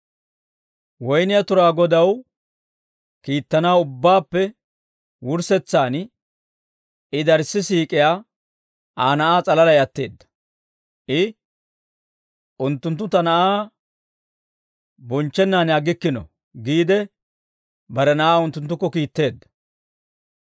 «Woynniyaa turaa godaw kiittanaw ubbaappe wurssetsaan I darii siik'iyaa Aa na'aa s'alalay atteedda; I, ‹Unttunttu ta na'aa bonchchennaan aggikkino› giide, bare na'aa unttunttukko kiitteedda.